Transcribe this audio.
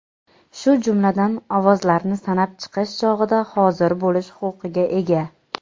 shu jumladan ovozlarni sanab chiqish chog‘ida hozir bo‘lish huquqiga ega.